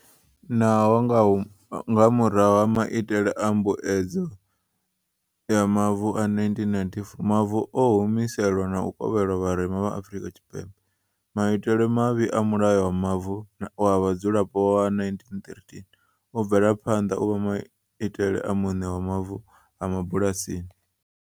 Naho nga murahu ha mai tele a mbuedzedzo ya mavu a -1994 mavu o humiselwa na u kovhelwa vharema vha Afrika Tshipembe, maitele mavhi a Mulayo wa Mavu wa Vhadzulapo wa 1913 u bvela phanḓa u vha maitele a vhuṋe ha mavu a mabulasini.